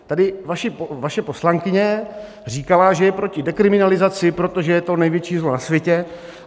Tady vaše poslankyně říkala, že je proti dekriminalizaci, protože je to největší zlo na světě.